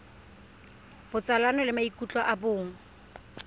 botsalano le maikutlo a bong